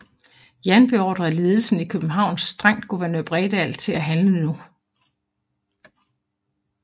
Jan beordrede ledelsen i København strengt guvernør Bredal til at handle nu